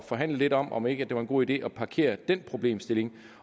forhandle lidt om om ikke det var en god idé at parkere den problemstilling